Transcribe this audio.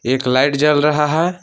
एक लाइट जल रहा है।